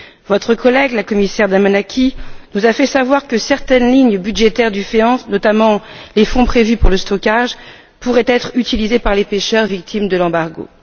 Votre collègue, la commissaire Damanaki, nous a fait savoir que certaines lignes budgétaires du FEAMP, notamment les fonds prévus pour le stockage, pourraient être utilisées par les pêcheurs victimes de l'embargo.